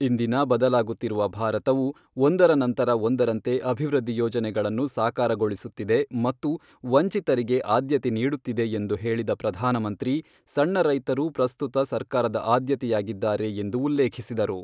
ಇಂದಿನ ಬದಲಾಗುತ್ತಿರುವ ಭಾರತವು ಒಂದರ ನಂತರ ಒಂದರಂತೆ ಅಭಿವೃದ್ಧಿ ಯೋಜನೆಗಳನ್ನು ಸಾಕಾರಗೊಳಿಸುತ್ತಿದೆ ಮತ್ತು ವಂಚಿತರಿಗೆ ಆದ್ಯತೆ ನೀಡುತ್ತಿದೆ ಎಂದು ಹೇಳಿದ ಪ್ರಧಾನಮಂತ್ರಿ, ಸಣ್ಣ ರೈತರು ಪ್ರಸ್ತುತ ಸರ್ಕಾರದ ಆದ್ಯತೆಯಾಗಿದ್ದಾರೆ ಎಂದು ಉಲ್ಲೇಖಿಸಿದರು.